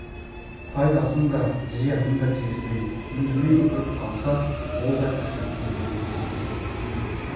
пайдасын да зиянын да тигізбей үндемей отырып қалса ол да кісіліктің белгісі екен